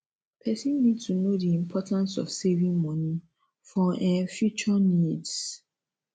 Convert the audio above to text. person need to know di importance of saving money for um future needs